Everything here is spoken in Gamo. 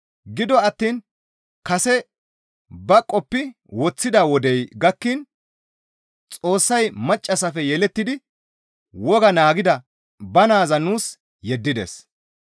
Gido attiin kase ba qoppi woththida wodey gakkiin Xoossay maccassafe yelettidi wogaa naagida ba naaza nuus yeddides.